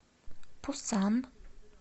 пусан